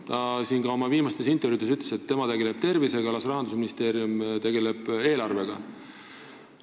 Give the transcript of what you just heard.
Minister on ka oma viimastes intervjuudes öelnud, et tema tegeleb tervisega, las Rahandusministeerium tegeleb eelarvega.